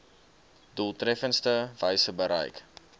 doeltreffendste wyse bereik